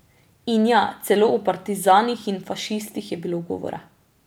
In, ja, celo o partizanih in fašistih je bilo govora.